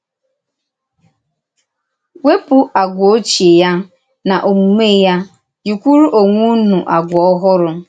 Wèpù àgwà òchíè ya na òmùmè ya, yìkwùrù onwe ùnú àgwà ọ́hụrụ.